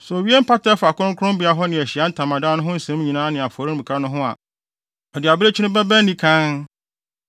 “Sɛ owie mpata a ɛfa kronkronbea hɔ ne Ahyiae Ntamadan no ho nsɛm nyinaa ne afɔremuka no ho a, ɔde abirekyi no bɛba anikann.